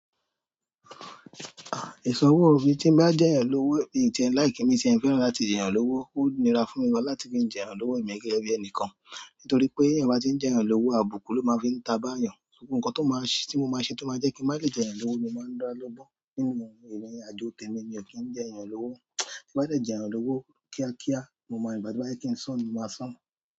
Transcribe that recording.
À, ìṣọwó mi tí ń bá jẹ́yàn lówó, mí i tí ẹ̀ ń like e mí tí ẹ̀ ń fẹ́ràn láti jẹ́yàn lówó, ó níra fún mi gan láti ki ń jẹ́yàn lówó emi gẹ́gẹ́ bí ẹnìkan. Nítorí pé ti eyan bá tí ń jẹ́yàn lówó, àbùkù ló máa fi ń ta bá yàn. Gbogbo ǹkan tó máa ṣe, tí mo máa ṣe tó máa jẹ́ kí n má lè jẹ́yàn lówó ni mo máa ń dá lọ́gbọ́n nínú ìrìnàjò tèmi. Mi ò kí ń jẹ́yàn lówó. Tín bá dẹ́ jẹ́yàn lówó kíákíá, mo máa, ígba to bá yẹ́ kí ń san ni mo máa sùn.